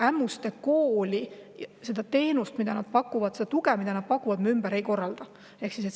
Ämmuste Kooli puhul me seda teenust, mida nad pakuvad, ja seda tuge, mida nad pakuvad, ümber ei korralda.